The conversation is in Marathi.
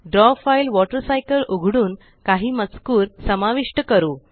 द्रव फ़ाइल वॉटर सायकल उघडून काही मजकूर समविष्ट करू